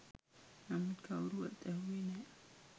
නමුත් කවුරුවත් ඇහැව්වේ නෑ